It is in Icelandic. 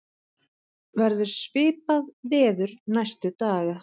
verður svipað veður næstu daga